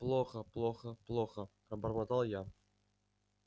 плохо плохо плохо пробормотал я